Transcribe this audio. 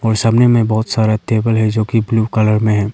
सामने में बहुत सारे टेबल है जोकि ब्लू कलर में है।